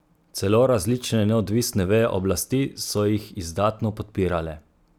Celo različne neodvisne veje oblasti so jih izdatno podpirale.